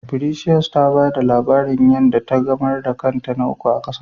Precious ta ba da labarin yan da ta gamar da krat na Kwai uku a gasa